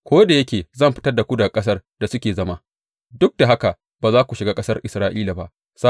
Ko da yake zan fitar da su daga ƙasar da suke zama, duk da haka ba za su shiga ƙasar Isra’ila ba.